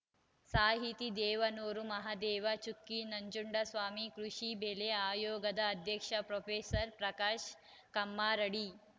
ಸಾಹಿತಿ ದೇವನೂರು ಮಹಾದೇವ ಚುಕ್ಕಿ ನಂಜುಂಡಸ್ವಾಮಿ ಕೃಷಿ ಬೆಲೆ ಆಯೋಗದ ಅಧ್ಯಕ್ಷ ಪ್ರೊಫೆಸರ್ ಪ್ರಕಾಶ್‌ ಕಮ್ಮರಡಿ